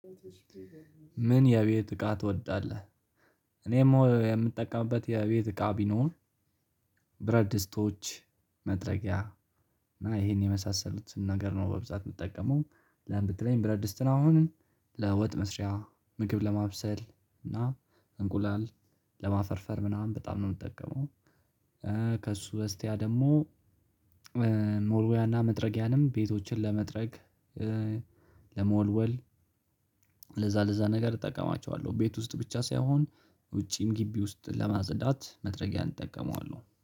ምን የቤት እቃ ትወዳለህ? እኔ የምጠቀምበት የቤት እቃ ቢኖር ብረድ ድስቶች መጥረጊያ እና ይሄን የመሳሰሉትን ነገር ነው በብዛት የምትጠቀመው ለምን ብትለኝ ብረት ድስትን አሁን ለወጥ መስሪያ ምግብ ለማብሰል እና እንቁላል ለማፈርፈር ምናምን በጣም ነው የምጠቀመው። ከእሱ በስቲያ ደግሞ መወልወያና መጥረጊያንም ቤቶችን ለመጥረግ ለመወልወል ለዛ ለዛ ነገር እጠቀማቸዋለሁ። ቤት ውስጥ ብቻ ሳይሆን ውጪም ግቢ ውስጥ ለማጽዳት መጥረጊያን እጠቀመዋለሁ